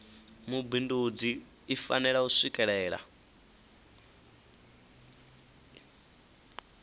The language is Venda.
mubindudzi i fanela u swikelela